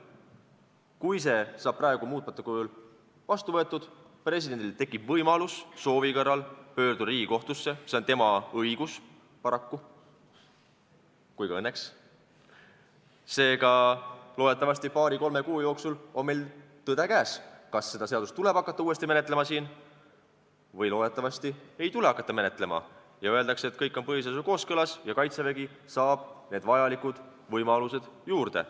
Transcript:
Kui see seadus praegu muutmata kujul vastu võetakse, siis tekib presidendil võimalus pöörduda soovi korral Riigikohtusse, see on tema õigus – nii paraku kui ka õnneks –, seega on loodetavasti paari-kolme kuu jooksul meil käes tõde, kas seda seadust tuleb hakata siin uuesti menetlema või loodetavasti ei tule hakata menetlema, öeldakse, et kõik on põhiseadusega kooskõlas ja Kaitsevägi saab need vajalikud võimalused juurde.